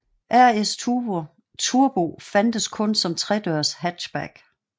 RS Turbo fandtes kun som tredørs hatchback